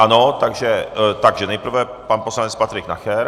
Ano, takže nejprve pan poslanec Patrik Nacher.